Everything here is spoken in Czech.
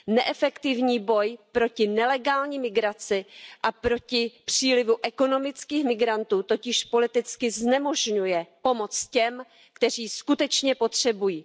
Neefektivní boj proti nelegální migraci a proti přílivu ekonomických migrantů totiž politicky znemožňuje pomoc těm, kteří ji skutečně potřebují.